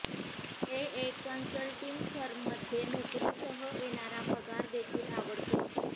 ते एक कन्सल्टिंग फर्ममध्ये नोकरीसह येणारा पगार देखील आवडतो